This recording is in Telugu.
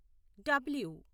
డబ్ల్యు